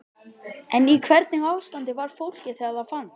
En í hvernig ástandi var fólkið þegar það fannst?